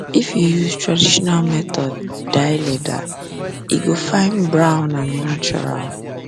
if you use traditional method dye leather e go fine brown and natural